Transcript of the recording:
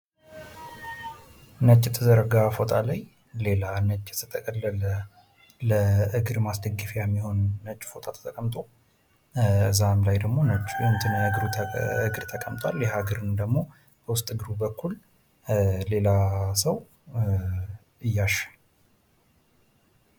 የተነጠፈ ነጭ ፎጣ ላይ ሌላ የተጠቀለለ ነጭ ፎጣ ለማስደገፊያ አለ። በፎጣው ላይ እግር እና እሱም በውስጥ እግሩ በኩል ሌላ ሰው እያሸው ይታያል።